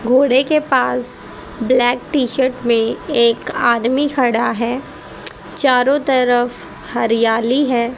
घोड़े के पास ब्लैक टी-शर्ट में एक आदमी खड़ा है चारों तरफ हरियाली है।